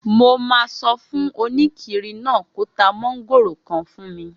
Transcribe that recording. Mo máa sọ fún oníkiri náà kó ta mọ́ngòrò kan fún mi